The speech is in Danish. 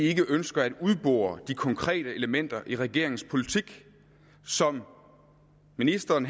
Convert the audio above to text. vi ikke ønsker at udbore de konkrete elementer i regeringens politik som ministeren